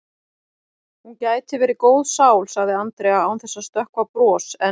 Hún gæti verið góð sál sagði Andrea án þess að stökkva bros en